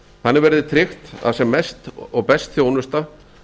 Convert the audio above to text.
þannig verði tryggt að sem mest og best þjónusta